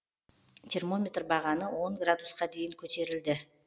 термометр бағаны он градусқа дейін көтерілді